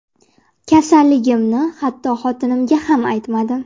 Kasalligimni hatto xotinimga ham aytmadim.